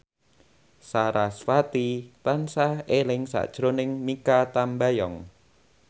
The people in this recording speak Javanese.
sarasvati tansah eling sakjroning Mikha Tambayong